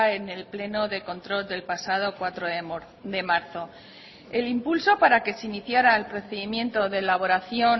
en el pleno de control del pasado cuatro de marzo el impulso para que se iniciara el procedimiento de elaboración